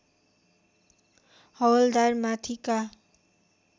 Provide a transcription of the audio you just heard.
हवल्दार माथिका